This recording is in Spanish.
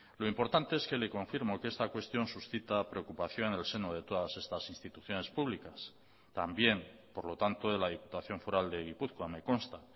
lo importante es que le confirmo que esta cuestión suscita preocupación en el seno de todas estas instituciones públicas también por lo tanto de la diputación foral de gipuzkoa me consta